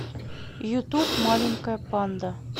ютуб маленькая панда